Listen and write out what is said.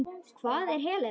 Hvar er Helena?